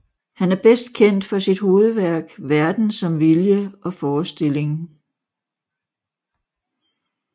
Han er bedst kendt for sit hovedværk Verden som vilje og forestilling